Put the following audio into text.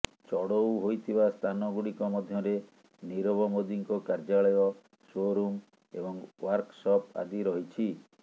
ଚଢ଼ଉ ହୋଇଥିବା ସ୍ଥାନ ଗୁଡ଼ିକ ମଧ୍ୟରେ ନିରବ ମୋଦିଙ୍କ କାର୍ଯ୍ୟାଳୟ ସୋରୁମ୍ ଏବଂ ଓ୍ବାର୍କସପ୍ ଆଦି ରହିଛି